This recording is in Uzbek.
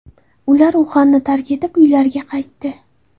Ular Uxanni tark etib, uylariga qaytdi.